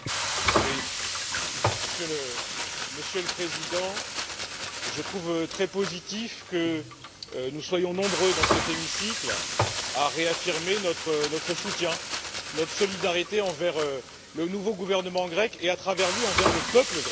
Monsieur le Président, je trouve très positif que nous soyons nombreux dans cet hémicycle à réaffirmer notre soutien et notre solidarité envers le nouveau gouvernement grec, et à travers lui envers le peuple grec, qui a été durement éprouvé